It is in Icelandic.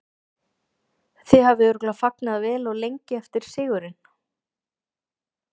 Þið hafið örugglega fagnað vel og lengi eftir sigurinn?